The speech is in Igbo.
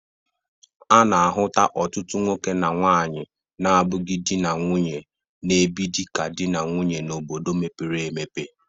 A na-ahụta ọtụtụ nwoke na nwaanyị na-abụghi dị na nwunye na-ebi dịka dị na nwunye n'obodo mepere emepe.